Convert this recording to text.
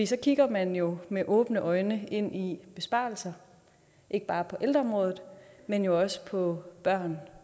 så kigger man jo med åbne øjne ind i besparelser ikke bare på ældreområdet men også på børne